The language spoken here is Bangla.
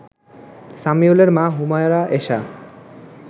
সামিউলের মা হুমায়রা এশা